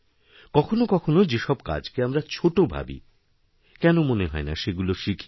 কখনো কখনো যেসব কাজকে আমরা ছোটভাবি কেন মনে হয় না সেগুলো শিখি